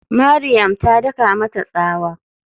Mariam ta daka mata tsawa.